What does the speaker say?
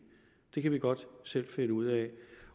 det kan vi godt selv finde ud af